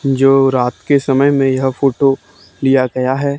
जो रात के समय मे यह फोटो लिया गया है।